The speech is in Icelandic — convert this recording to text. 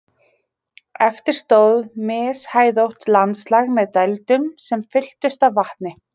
eftir stóð mishæðótt landslag með dældum sem fylltust af vatni